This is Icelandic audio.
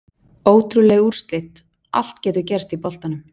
Ótrúleg úrslit, allt getur gerst í boltanum!